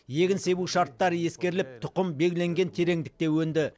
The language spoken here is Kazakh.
егін себу шарттары ескеріліп тұқым белгіленген тереңдікте өнді